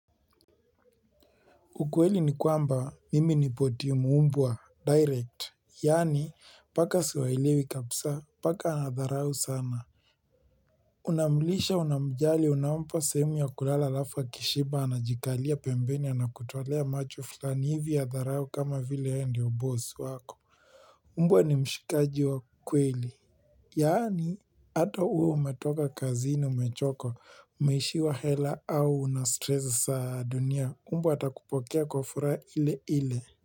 Ukweli ni kwamba mimi nipo timu mbwa direct yaani paka siwaelewi kabisa. Paka ana dharau sana Unamlisha unamjali unampa sehemu ya kulala alafu akishiba anajikalia pembeni anakutolea macho fulani hivi ya dharau kama vile yeye ndo boss wako Mbwa ni mshikaji wa kweli, yaani ata uwe umetoka kazini umechoka, umeishiwa hela au una strese za dunia, mbwa atakupokea kwa furaha ile ile.